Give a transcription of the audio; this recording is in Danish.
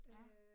Ja